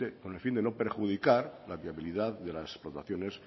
con el fin de no perjudicar la viabilidad de las explotaciones